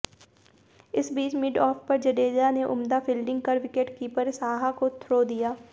इस बीच मिडऑफ पर जडेजा ने उम्दा फील्डिंग कर विकेटकीपर साहा को थ्रो दिया